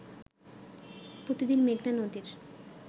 প্রতিদিন মেঘনা নদীর